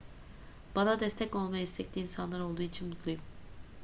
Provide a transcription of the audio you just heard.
bana destek olmaya istekli insanlar olduğu için mutluyum